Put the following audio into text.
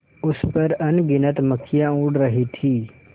उस पर अनगिनत मक्खियाँ उड़ रही थीं